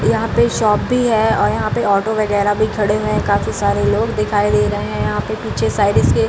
यहाँ पे शॉप भी है और यहाँ पे ऑटो वैगरा भी खड़े हुए हैं काफी सारे लोग दिखाई दे रहे हैं यहाँ पे पीछे साइड से --